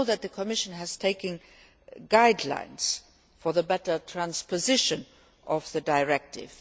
You will know that the Commission has adopted guidelines on better transposition of the directive.